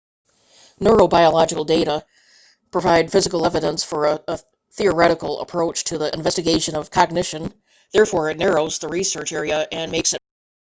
neurobiological data provide physical evidence for a theoretical approach to the investigation of cognition therefore it narrows the research area and makes it much more exact